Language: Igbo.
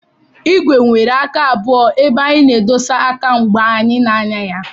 Báịsikụ nwèrè àká abụo ébé anyị na-édosa àká mgbe anyị na-ànyà ya